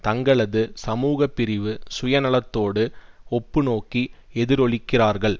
தங்களது சமூகப்பிரிவு சுயநலத்தோடு ஒப்பு நோக்கி எதிரொலிக்கிறார்கள்